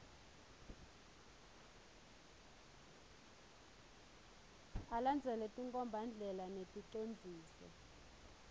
alandzele tinkhombandlela neticondziso